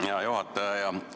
Hea juhataja!